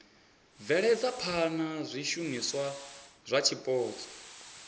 bveledza phana zwishumiswa zwa zwipotso